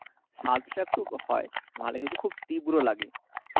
স্বাদ টা একটু হয় মানে কিন্তু খুব তীব্র লাগে।